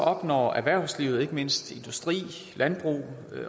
opnår erhvervslivet ikke mindst industrien landbruget